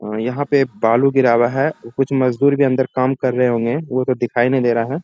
और यहाँ पे बालू गिरा हुआ है कुछ मजदुर भी अंदर काम कर रहे होंगे वो तो दिखाई नहीं दे रहा है।